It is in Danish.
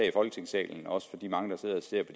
i folketingssalen også for de mange der sidder og ser